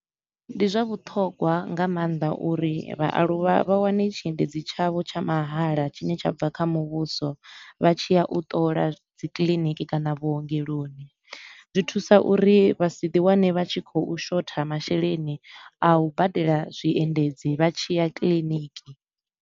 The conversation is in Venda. Ndi zwa vhuṱhogwa nga maanḓa uri vhaaluwa vha wane tshiendedzi tshavho tsha mahala tshine tsha bva kha muvhuso, vha tshi ya u ṱola dzi kiḽiniki kana vhuongeloni. Zwi thusa uri vha si ḓi wane vha tshi khou shotha masheleni a u badela zwiendedzi vha tshi ya kiḽiniki.